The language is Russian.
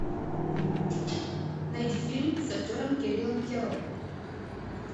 найди фильм с актером кириллом кяро